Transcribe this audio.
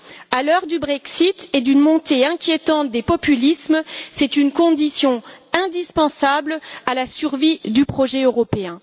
À l'heure du Brexit et d'une montée inquiétante des populismes, c'est une condition indispensable à la survie du projet européen.